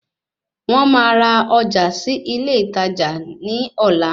Wọ́n máa ra ọjà sí ilé ìtajà ní ọ̀la